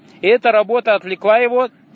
и эта работа отвлекла его